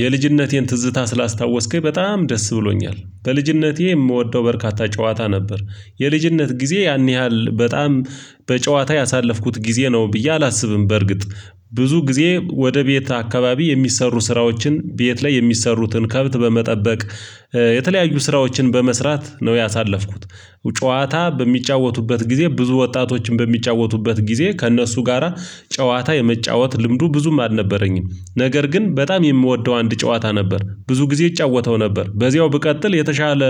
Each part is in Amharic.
የልጅነቴን ትዝታ ስላስታወስከኝ በጣም ደስ ብሎኛል በልጅነቴ የምወደው በርካታ ጨዋታ ነበር የልጅነት ጊዜዬ ያን ያህል በጣም። በጨዋታ ያሳለፍኩት ጊዜ ነው ብዬ አላስብም። በርግጥ ብዙ ጊዜ ወደ ቤት አካባቢ የሚሰሩ ስራዎችን ቤት ላይ የሚሰሩትን ከብት በመጠበቅ የተለያዩ ስራዎችን በመስራት ነው ያሳለፍኩት። ጨዋታ በሚጫወቱበት ጊዜ ብዙ ወጣቶች በሚጫወቱበት ጊዜ ከእነሱ ጋራ ጨዋታ የመጫወት ልምዱ ብዙም አልነበረኝም። ነገር ግን በጣም የምወደው አንድ ጨዋታ ነበር ብዙ ጊዜ እጫወተው ነበር በዚያው ብቀጥል የተሻለ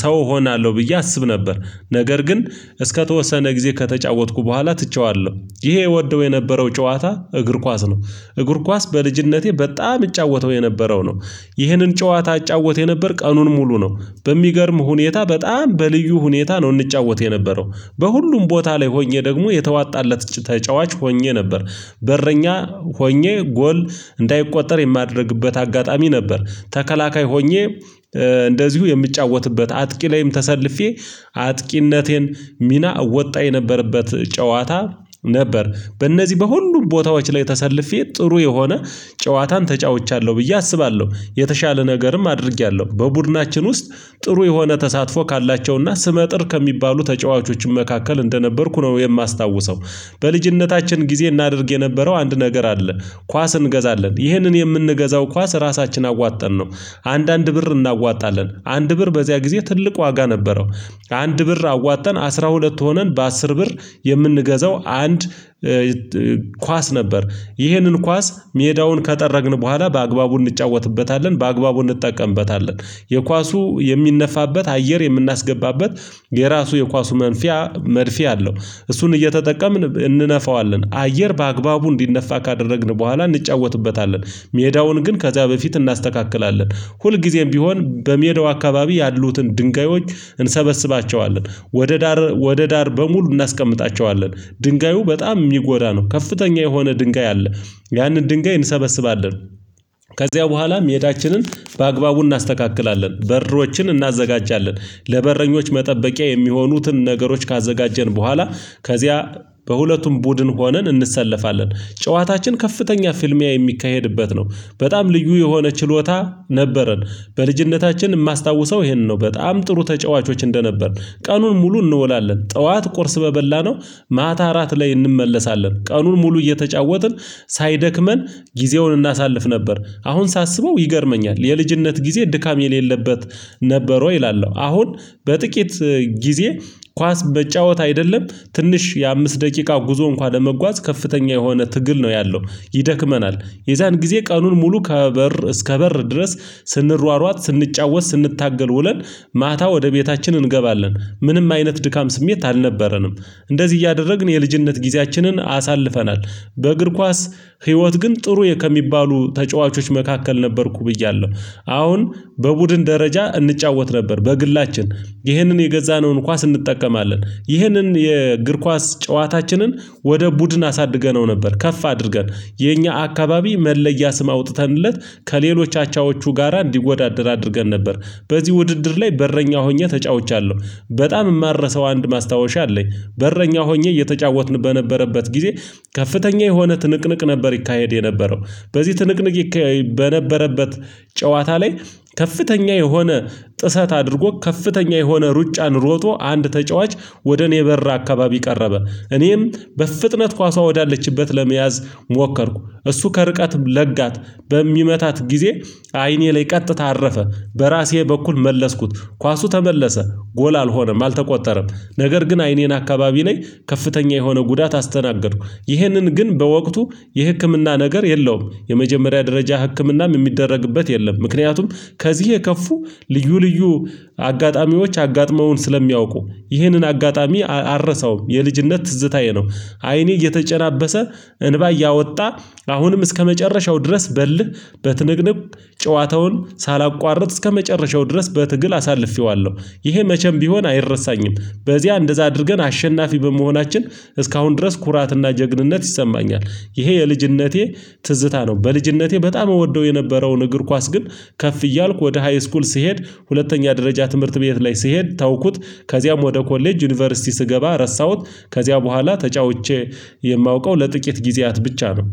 ሰው እሆናለሁ ብዬ አስብ ነበር። ነገር ግን እስከተወሰነ ጊዜ ከተጫወትኩ በኋላ ትቼዋለሁ። ይሄ እወደው የነበረው ጨዋታ እግር ኳስ ነው። እግር ኳስ በልጅነቴ በጣም እጫወተው የነበረው ነው። ይህንን ጨዋታ እጫወት የነበር ቀኑን ሙሉ ነው በሚገርም ሁኔታ በጣም በልዩ ሁኔታ ነው እንጫወት የነበረው። በሁሉም ቦታ ላይ ሆኜ ደግሞ የተዋጣለት ተጫዋች ሆኜ ነበር። በረኛ ሆኜ ጎል እንዳይቆጠር የማደርግበት አጋጣሚ ነበር። ተከላካይ ሆኜ እንደዚሁ የምጫወትበት አጥቂ ላይም ተሰልፌ አጥቂነቴን ሚና እወጣ የነበረበት ጨዋታ ነበር። በእነዚህ በሁሉም ቦታዎች ላይ ተሰልፌ ጥሩ የሆነ ጨዋታን ተጫውቻለሁ ብዬ አስባለሁ የተሻለ ነገርም አድርጌያለሁ በቡድናችን ውስጥ ጥሩ የሆነ ተሳትፎ ካላቸውና ስመጥር ከሚባሉ ተጫዋቾችም መካከል እንደነበርኩ ነው የማስታውሰው። በልጅነታችን ጊዜ እናደርግ የነበረው አንድ ነገር አለ። ኳስ እንገዛለን ይህንን የምንገዛው ኳስ ራሳችን አዋጠንነው አንዳንድ ብር እናዋጣለን አንድ ብር በዚያ ጊዜ ትልቅ ዋጋ ነበረው። አንድ ብር አዋጥተን አስራ ሁለት ሆነን በአስር ብር የምንገዛው አንድ ኳስ ነበር። ይህንን ኳስ ሜዳውን ከጠረግን በኋላ በአግባቡ እንጫወትበታለን በአግባቡ እንጠቀምበታለን። የኳሱ የሚነፋበት አየር የምናስገባበት የራሱ የኳሱ መንፊያ መድፌ አለው። እሱን እየተጠቀምን እንነፋዋለን አየር በአግባቡ እንዲነፋ ካደረግን በኋላ እንጫወትበታለን። ሜዳውን ግን ከዚያ በፊት እናስተካክላለን። ሁልጊዜም ቢሆን በሜዳው አካባቢ ያሉትን ድንጋዮች እንሰበስባቸዋለን ወደ ዳር ወደ ዳር በሙሉ እናስቀምጣቸዋለን። ድንጋዩ በጣም የሚጎዳ ነው ከፍተኛ የሆነ ድንጋይ አለ። ያንን ድንጋይ እንሰበስባለን። ከዚያ በኋላም ሜዳችንን በአግባቡ እናስተካክላለን በሮችን እናዘጋጃለን። ለበረኞች መጠበቂያ የሚሆኑትን ነገሮች ካዘጋጀን በኋላ ከዚያ በሁለቱም ቡድን ሆነን እንሰለፋለን። ጨዋታችን ከፍተኛ ፍልሚያ የሚካሄድበት ነው። በጣም ልዩ የሆነ ችሎታ ነበረን። በልጅነታችን የማስታውሰው ይሄንን ነው በጣም ጥሩ ተጫዋቾች እንደነበርን። ቀኑን ሙሉ እንውላለን ጠዋት ቁርስ በበላነው ማታ እራት ላይ እንመለሳለን ቀኑን ሙሉ እየተጫወትን ሳይደክመን ጊዜውን እናሳልፍ ነበር። አሁን ሳስበው ይገርመኛል የልጅነት ጊዜ ድካም የሌለበት ነበር ወይ እላለሁ። አሁን በጥቂት ጊዜ ኳስ መጫወት አይደለም ትንሽ የአምስት ደቂቃ ጉዞ እንኳን ለመጓዝ ከፍተኛ የሆነ ትግል ነው ያለው ይደክመናል። የዛን ጊዜ ቀኑን ሙሉ ከበር እስከ በር ድረስ ስንሯሯጥ ስንጫወት ስንታገል ውለን ማታ ወደ ቤታችን እንገባለን። ምንም አይነት ድካም ስሜት አልነበረንም። እንደዚህ እያደረግን የልጅነት ጊዜያችንን አሳልፈናል። በእግር ኳስ ህይወት ግን ጥሩ ከሚባሉ ተጫዋቾች መካከል ነበርኩ ብያለሁ። አሁን በቡድን ደረጃ እንጫወት ነበር በግላችን ይህንን የገዛነውን ኳስ እንጠቀማለን ይህንን የእግር ኳስ ጨዋታችንን ወደ ቡድን አሳድገነው ነበር ከፍ አድርገን የኛ አካባቢ መለያ ስም አውጥተንለት ከሌሎች አቻዎቹ ጋራ እንዲወዳደር አድርገን ነበር። በዚህ ውድድር ላይ በረኛ ሆኜ ተጫውቻለሁ። በጣም የማረሳው አንድ ማስታወሻ አለኝ። በረኛ ሆኜ እየተጫወትን በነበረበት ጊዜ ከፍተኛ የሆነ ትንቅንቅ ነበር ይካሄድ የነበረው። በዚህ ትንቅንቅ በነበረበት ጨዋታ ላይ ከፍተኛ የሆነ ጥሰት አድርጎ ከፍተኛ የሆነ ሩጫን ሮጦ አንድ ተጫዋች ወደ እኔ በር አካባቢ ቀረበ። እኔም በፍጥነት ኳሷ ወዳለችበት ለመያዝ ሞከርኩ እሱ ከርቀትም ለጋት በሚመታት ጊዜ አይኔ ላይ ቀጥታ አረፈ። በራሴ በኩል መለስኩት ኳሱ ተመለሰ ጎል አልሆነም አልተቆጠረም። ነገር ግን አይኔን አካባቢ ላይ ከፍተኛ የሆነ ጉዳት አስተናገድኩ። ይህንን ግን በወቅቱ የህክምና ነገር የለውም የመጀመሪያ ደረጃ ህክምናም የሚደረግበት የለም ምክንያቱም። ከዚህ የከፉ ልዩ ልዩ አጋጣሚዎች አጋጥመውን ስለሚያውቁ ይህንን አጋጣሚ አልረሳውም የልጅነት ትዝታዬ ነው። አይኔ እየተጨናበሰ እንባ እያወጣ አሁንም እስከመጨረሻው ድረስ በእልህ በትንቅንቅ ጨዋታውን ሳላቋርጥ እስከመጨረሻው ድረስ በትግል አሳልፌዋለሁ ይሄ መቼም ቢሆን አይረሳኝም። በዚያ እንደዛ አድርገን አሸናፊ በመሆናችን እስካሁን ድረስ ኩራትና ጀግንነት ይሰማኛል። ይሄ የልጅነቴ ትዝታ ነው። በልጅነቴ በጣም እወደው የነበረውን እግር ኳስ ግን ከፍ እያልኩ ወደ ሃይ ስኩል ስሄድ ሁለተኛ ደረጃ ትምህርት ቤት ላይ ስሄድ ተውኩት። ከዚያም ወደ ኮሌጅ ዩኒቨርሲቲ ስገባ ረሳሁት። ከዚያ በኋላ ተጫውቼ የማውቀው ለጥቂት ጊዜያት ብቻ ነው።